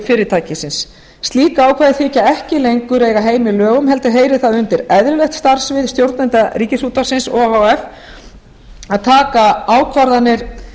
fyrirtækisins slík ákvæði þykja ekki lengur eiga heima í lögum heldur heyrir það undir eðlilegt starfssvið stjórnenda ríkisútvarpsins o h f að taka ákvarðanir